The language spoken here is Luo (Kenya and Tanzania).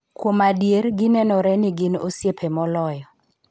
Kuom adier, ginenore ni gin osiepe moloyo .